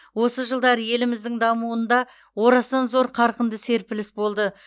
осы жылдары еліміздің дамуында орасан зор қарқынды серпіліс болды